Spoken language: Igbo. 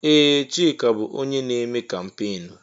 Ee! Chika bụ onye na-eme kampeenụ́.